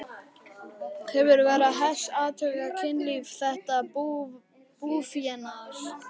Hefur Vera Hess athugað kynlíf þessa búfénaðar?